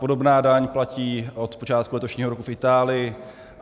Podobná daň platí od počátku letošního roku v Itálii.